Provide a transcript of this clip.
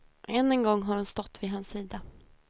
Än en gång har hon stått vid hans sida.